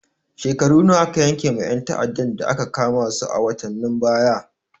Shekaru nawa aka yanke ma ƴan ta'addan da aka kama su a watanen baya?